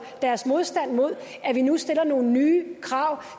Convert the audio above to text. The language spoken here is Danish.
deres modstand mod at vi nu stiller nogle nye krav